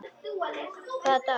Hvaða dagur er í dag?